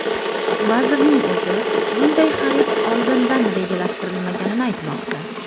Vazirning o‘zi bunday xarid oldindan rejalashtirilmaganini aytmoqda.